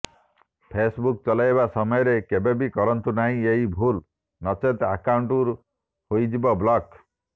Facebook ଚଲାଇବା ସମୟରେ କେବେ ବି କରନ୍ତୁ ନାହିଁ ଏହି ଭୁଲ୍ ନଚେତ୍ ଆକାଉଂଟ୍ ହୋଇଯିବ ବ୍ଲକ୍